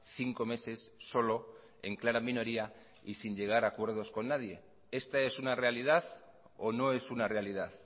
cinco meses solo en clara minoría y sin llegar a acuerdos con nadie esta es una realidad o no es una realidad